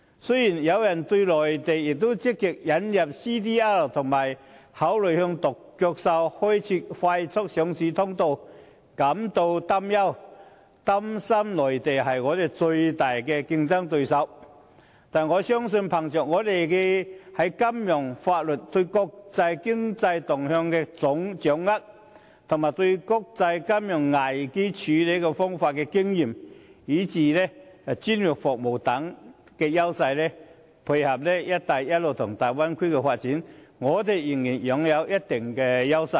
雖然有人對內地也積極推動 CDR 及考慮向"獨角獸"企業開設快速上市通道感到擔憂，擔心內地將成為香港最大競爭對手，但我深信，憑藉我們的金融和法律體制，對國際經濟動向的掌握，應對國際金融危機的經驗，以至專業服務等優勢，配合"一帶一路"及大灣區的發展，香港仍然擁有一定優勢。